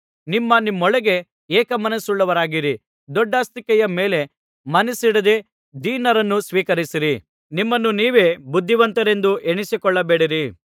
ನಿಮ್ಮ ನಿಮ್ಮೊಳಗೆ ಏಕಮನಸ್ಸುಳ್ಳವರಾಗಿರಿ ದೊಡ್ಡಸ್ತಿಕೆಯ ಮೇಲೆ ಮನಸ್ಸಿಡದೆ ದೀನರನ್ನು ಸ್ವೀಕರಿಸಿರಿ ನಿಮ್ಮನ್ನು ನೀವೇ ಬುದ್ಧಿವಂತರೆಂದು ಎಣಿಸಿಕೊಳ್ಳಬೇಡಿರಿ